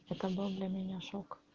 это был для меня шок